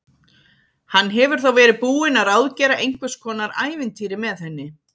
Hann hefur þá verið búinn að ráðgera einhvers konar ævintýri með henni!